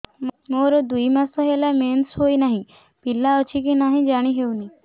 ମୋର ଦୁଇ ମାସ ହେଲା ମେନ୍ସେସ ହୋଇ ନାହିଁ ପିଲା ଅଛି କି ନାହିଁ ଜାଣି ହେଉନି